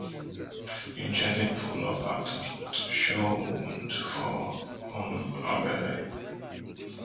im gently pull up her top to show wound for um her belle